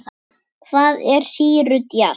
Hvað er sýru djass?